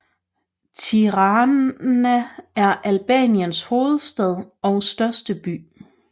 Tirana er Albaniens hovedstad og største by